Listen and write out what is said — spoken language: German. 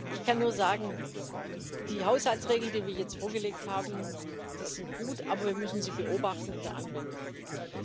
Ich kann nur sagen Die Haushaltsregeln, die wir jetzt vorgelegt haben, die sind gut, aber wir müssen sie in der Anwendung beobachten.